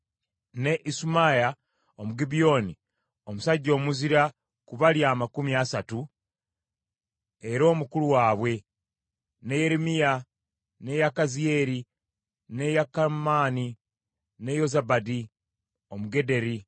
ne Isumaya Omugibyoni, omusajja omuzira ku bali amakumi asatu, era omukulu waabwe; ne Yeremiya, ne Yakaziyeri, ne Yokanaani, ne Yozabadi Omugederi;